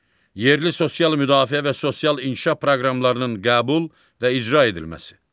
Yerli sosial müdafiə və sosial inkişaf proqramlarının qəbul və icra edilməsi.